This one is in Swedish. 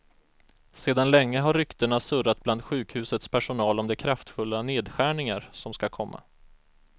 Sedan länge har ryktena surrat bland sjukhusets personal om de kraftfulla nedskärningar som ska komma.